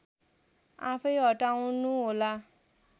आफैँ हटाउनुहोला